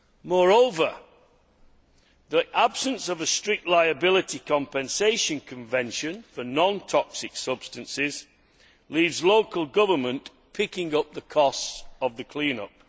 Moreover, the absence of a strict liability compensation convention for non toxic substances leaves local government picking up the cost of the clean up.